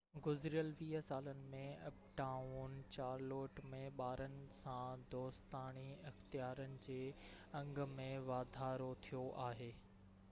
گذريل 20 سالن ۾ uptown Charlotte ۾ ٻارن سان دوستاڻي اختيارن جي انگ ۾ واڌارو ٿيو آهي